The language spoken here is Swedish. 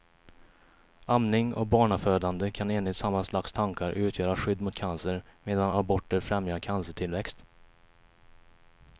Amning och barnafödande kan enligt samma slags tankar utgöra skydd mot cancer, medan aborter främjar cancertillväxt.